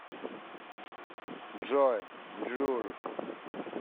джой джул